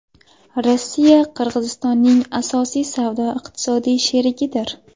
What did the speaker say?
Rossiya Qirg‘izistonning asosiy savdo-iqtisodiy sherigidir.